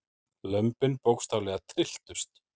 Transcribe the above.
Lömbin bókstaflega trylltust.